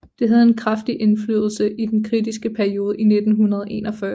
Det havde en kraftig indflydelse i den kritiske periode i 1941